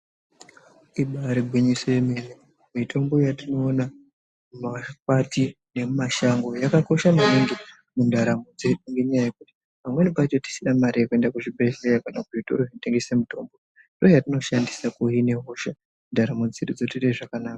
Ibari gwinyiso yemene mitombo yatinoona mumakwati nemumashango yakakosha maningi mundaramo dzedu. Ngendaa yekuti pamweni pacho tisina mari yekuenda kuzvibhedhleya kana kuzvitoro zvinotengese mitombo ndiyo yatinoshandisa kuhina hosha ndaramo dzedu dzotoite zvakanaka.